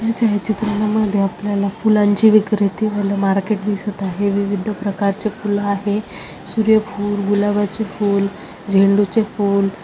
या छाया चित्रा मध्ये आपल्याला फुलांची विक्रेती व मार्केट दिसत आहे है विविध प्रकार चे फूल आहेत सूर्य फूल गुलाबाचे फूल झेंडूचे फूल--